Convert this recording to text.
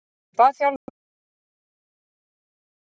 Ég bað þjálfarann um að fá að vera áfram með liðinu.